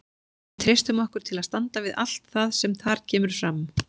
Við treystum okkur til að standa við allt það sem þar kemur fram.